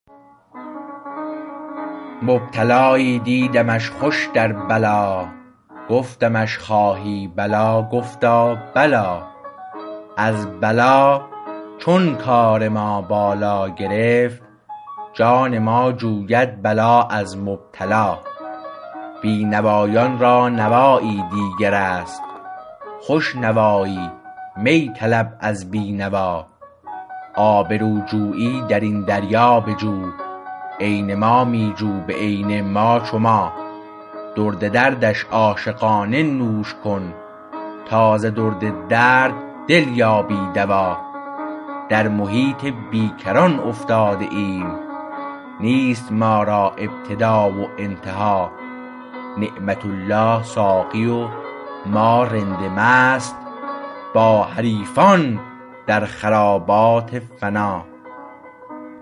مبتلایی دیدمش خوش در بلا گفتمش خواهی بلا گفتا بلی از بلا چون کار ما بالا گرفت جان ما جوید بلا از مبتلا بینوایان را نوایی دیگر است خوش نوایی می طلب از بینوا آبرو جویی درین دریا بجو عین ما می جو به عین ما چو ما درد دردش عاشقانه نوش کن تا ز درد درد دل یابی دوا در محیط بیکران افتاده ایم نیست ما را ابتدا و انتها نعمت الله ساقی و ما رند مست با حریفان در خرابات فنا